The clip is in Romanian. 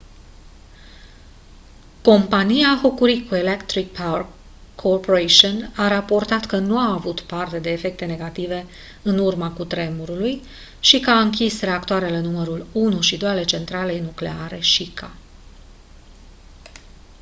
compania hokuriku electric power co a raportat că nu a avut parte de efecte negative în urma cutremurului și că a închis reactoarele numărul 1 și 2 ale centralei nucleare shika